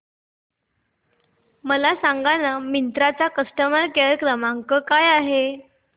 मला सांगाना मिंत्रा चा कस्टमर केअर क्रमांक काय आहे